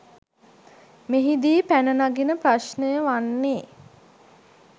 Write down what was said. මෙහිදී පැන නගින ප්‍රශ්නය වන්නේ